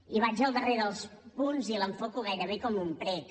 i vaig al darrer dels punts i l’enfoco gairebé com un prec